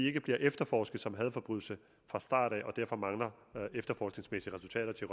ikke bliver efterforsket som en hadforbrydelse fra starten og derfor mangler der efterforskningsmæssige resultater til